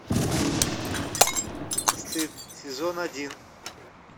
стыд сезон один